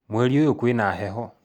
Mweri ũyũ kwĩna heho